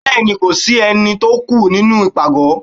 Béèni Ko si Eni tó o kù nínú ipágọ